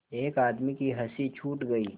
एक आदमी की हँसी छूट गई